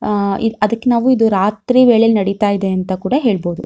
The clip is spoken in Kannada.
ಅಹ್ ಅದಕ್ಕೆ ನಾವು ಇದು ರಾತ್ರಿ ವೇಳೆ ನಡಿತಾ ಇದೆ ಅಂತ ಕೂಡ ಹೇಳಬಹುದು.